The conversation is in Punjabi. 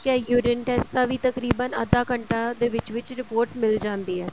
ਏ urine test ਦਾ ਵੀ ਤਕਰੀਬਨ ਅੱਧਾ ਘੰਟਾ ਦੇ ਵਿੱਚ ਵਿੱਚ report ਮਿਲ ਜਾਂਦੀ ਹੈ